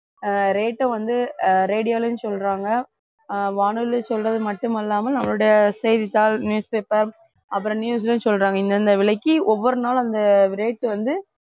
ஆஹ் rate அ வந்து ஆஹ் radio லயும் சொல்றாங்க ஆஹ் வானொலி சொல்றது மட்டுமல்லாமல் செய்தித்தாள் newspaper அப்புறம் news லையும் சொல்றாங்க இந்தந்த விலைக்கு ஒவ்வொரு நாளும் அந்த rate வந்து